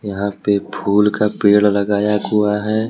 यहां पे फूल का पेड़ लगाया हुआ है।